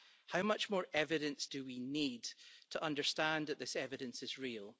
How much more evidence do we need to understand that this evidence is real?